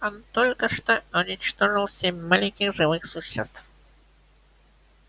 он только что уничтожил семь маленьких живых существ